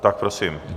Tak prosím.